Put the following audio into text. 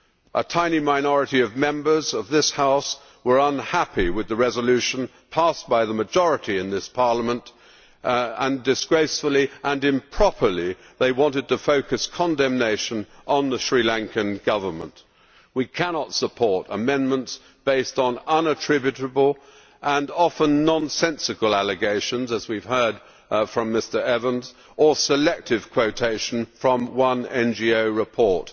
A tiny minority of Members of this House were unhappy with the resolution passed by the majority in this Parliament and, disgracefully and improperly, they wanted to focus condemnation on the Sri Lankan Government. We cannot support amendments based on unattributable and often nonsensical allegations, as we have heard from Mr Evans, or selective quotation from one NGO report.